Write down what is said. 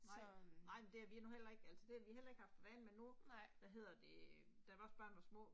Så øh. Nej